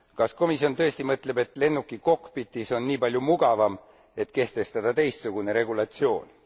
Kas komisjoni tõesti mõtleb, et lennuki kokpitis on nii palju mugavam, et kehtestada teistsugune regulatsioon?